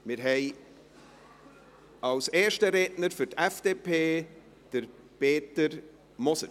Wir haben als ersten Redner für die FDP Peter Moser.